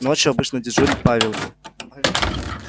ночью обычно дежурит павел